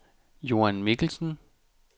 Joan Mikkelsen